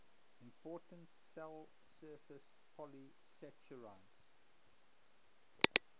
important cell surface polysaccharides